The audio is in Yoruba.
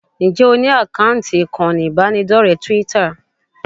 Ǹjẹ́ o ní àkáǹtì ìkànnì ìbánidọ́rẹ̀ẹ́ Twitter?